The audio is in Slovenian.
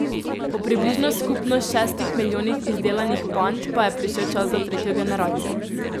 Po približno skupno šestih milijonih izdelanih pand pa je prišel čas za tretjo generacijo.